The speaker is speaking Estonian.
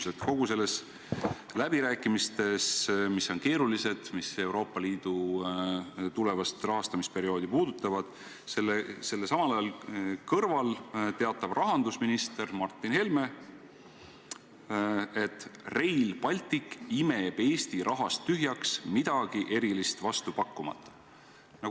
Samal ajal kõigi nende läbirääkimistega, mis on keerulised ja mis puudutavad Euroopa Liidu tulevast rahastamisperioodi, teatab rahandusminister Martin Helme, et Rail Baltic imeb Eesti rahast tühjaks midagi erilist vastu pakkumata.